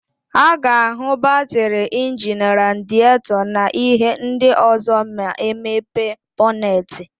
A ga-áhụ̀ batịrị, injini, radietọ na íhé ndị ọ̀zọ́ ma e mepe bọnetị.